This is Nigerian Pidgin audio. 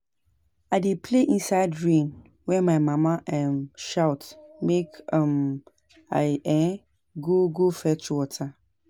I dey play inside rain wen my mama um shout make um I um go go fetch water